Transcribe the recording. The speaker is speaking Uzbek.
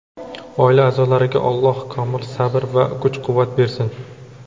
oila a’zolariga Alloh komil sabr va kuch-quvvat bersin.